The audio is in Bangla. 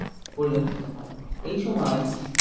পরিলক্ষিত হয় এই সময়